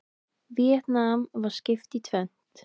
Víetnam var skipt í tvennt.